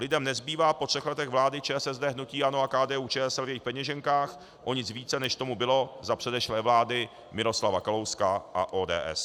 Lidem nezbývá po třech letech vlády ČSSD, hnutí ANO a KDU-ČSL v jejich peněženkách o nic více, než tomu bylo za předešlé vlády Miroslava Kalouska a ODS.